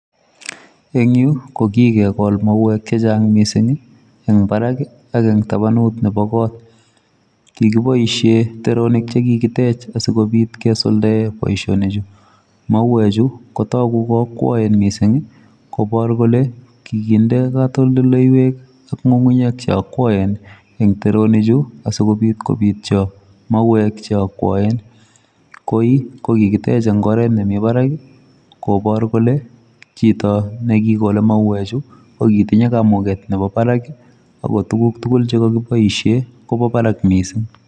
Eng' yuu, ko kikegol mauek chechang' missing, eng' barak ak eng' tabanut nebo kot. Kikiboisie teronik che kikitech asikobit kesuldae boisonik chu. Mauek chu, kotogu ko akwaen missing, kobor kole kikinde katoldoleiwek ak ng'u'ng'unyek che akwaen eng' teronik chu, asikobit kobityo mauek che akwaen. Koi, ko kikitech eng' oret nemi barak, kobor kole chito ne kigole mauek chu ko kitinye kamuket nebo barak, ago tuguk tugul che kakiboisie kobo barak missing.